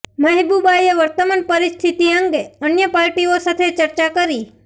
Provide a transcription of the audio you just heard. મહેબુબાએ વર્તમાન પરિસ્થિતિ અંગે અન્ય પાર્ટીઓ સાથે ચર્ચા કરી